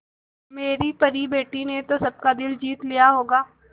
मेरी परी बेटी ने तो सबका दिल जीत लिया होगा